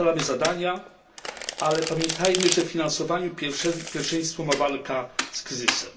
Ustalamy zadania, ale pamiętajmy, że w finansowaniu pierwszeństwo ma walka z kryzysem.